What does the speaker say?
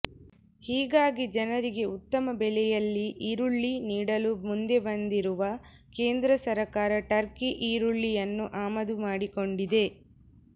ಹೀಗಾಗಿ ಜನರಿಗೆ ಉತ್ತಮ ಬೆಲೆಯಲ್ಲಿ ಈರುಳ್ಳಿ ನೀಡಲು ಮುಂದೆ ಬಂದಿರುವ ಕೇಂದ್ರ ಸರ್ಕಾರ ಟರ್ಕಿ ಈರುಳ್ಳಿಯನ್ನು ಆಮದು ಮಾಡಿಕೊಂಡಿದೆ